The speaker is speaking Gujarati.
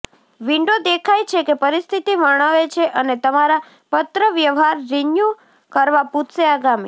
વિન્ડો દેખાય છે કે પરિસ્થિતિ વર્ણવે છે અને તમારા પત્રવ્યવહાર રિન્યૂ કરવા પૂછશે આગામી